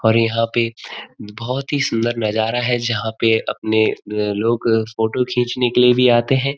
और यहाँ पे बहुत ही सुंदर नज़ारा है जहाँ पे अपने अ लोग भी म फोटो खिचने के लिए भी आते हैं।